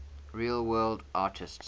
real world artists